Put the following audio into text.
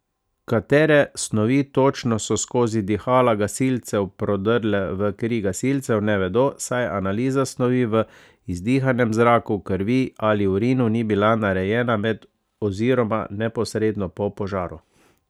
Katere snovi točno so skozi dihala gasilcev prodrle v kri gasilcev, ne vedo, saj analiza snovi v izdihanem zraku, krvi ali urinu ni bila narejena med oziroma neposredno po požaru.